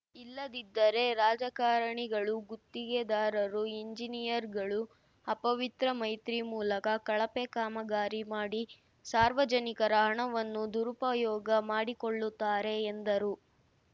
ಇಲ್ಲದಿದ್ದರೆ ರಾಜಕಾರಣಿಗಳು ಗುತ್ತಿಗೆದಾರರು ಎಂಜಿನಿಯರ್‌ಗಳು ಅಪವಿತ್ರ ಮೈತ್ರಿ ಮೂಲಕ ಕಳಪೆ ಕಾಮಗಾರಿ ಮಾಡಿ ಸಾರ್ವಜನಿಕರ ಹಣವನ್ನು ದುರುಪಯೋಗ ಮಾಡಿಕೊಳ್ಳುತ್ತಾರೆ ಎಂದರು